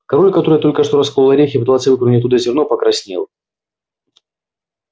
король который только что расколол орех и пытался выковырнуть оттуда зерно покраснел